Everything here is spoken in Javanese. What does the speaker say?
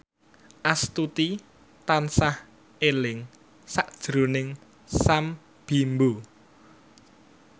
Astuti tansah eling sakjroning Sam Bimbo